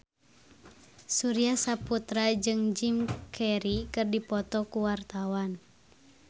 Surya Saputra jeung Jim Carey keur dipoto ku wartawan